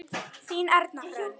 Þín Erna Hrönn.